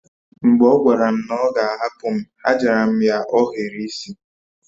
Mgbe ọ gwara m na ọ ga a hapu m, a jara m ya ohiri isi